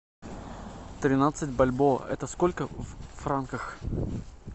тринадцать бальбоа это сколько в франках